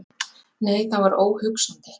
Nei, það var óhugsandi!